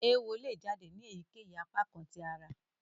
Eéwo le jáde sì èyíkéyìí apakan tí àrà.